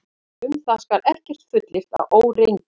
Um það skal ekkert fullyrt að óreyndu.